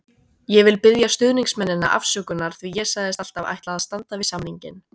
Ég vil biðja stuðningsmennina afsökunar því ég sagðist alltaf ætla að standa við samninginn.